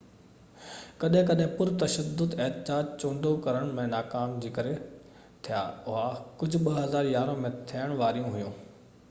ڪڏهن ڪڏهن پر تشدد احتجاج چونڊو ڪرڻ ۾ ناڪامي جي ڪري ٿيا هئا ڪجهہ 2011 ۾ ٿيڻ واريون هئيون